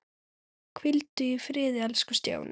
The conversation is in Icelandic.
Hvíldu í friði elsku Stjáni.